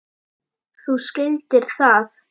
Þú skildir það.